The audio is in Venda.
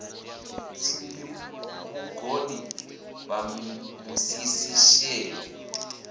tsindi vhugoni na musisi sheḓo